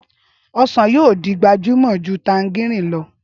Ọsàn yóò di gbajúmọ̀ ju tanjarínnì lọ.